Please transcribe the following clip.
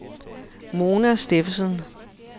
Mona Steffensen